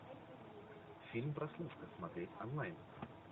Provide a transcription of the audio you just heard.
фильм прослушка смотреть онлайн